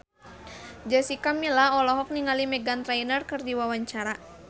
Jessica Milla olohok ningali Meghan Trainor keur diwawancara